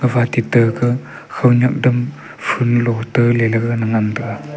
gapha teta ga khawnyak dam phoolo ta leley ga na ngan taiga.